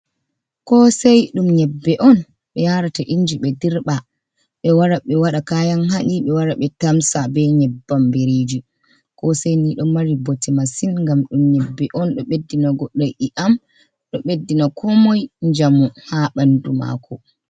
Ko sei ɗum nyebbe on ɓe yarata inji ɓe dirɓa ɓe wara ɓe waɗa kayan haɗi ɓe wara ɓe tamsa ɓe nyebbam biriji. Ko sei ni ɗo mari bote masin ngam ɗum 'yebbe on ɗo ɓeddina goddo i'am, ɗo ɓeddina ko moi njamu ha ɓandu mako.